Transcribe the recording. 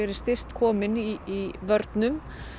styst komin í vörnum